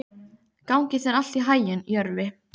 Gangi þér allt í haginn, Jörvi.